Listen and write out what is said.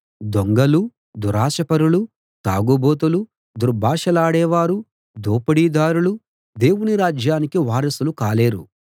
దొంగలూ దురాశ పరులూ తాగుబోతులూ దుర్భాషలాడే వారూ దోపిడీదారులూ దేవుని రాజ్యానికి వారసులు కాలేరు